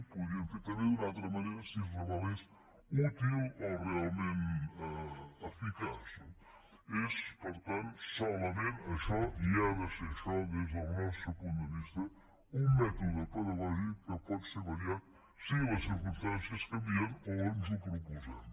ho podríem fer també d’una altra manera si es revelés útil o realment eficaç no és per tant solament això i ha de ser això des del nostre punt de vista un mètode pedagògic que pot ser variat si les circumstàncies canvien o ens ho proposem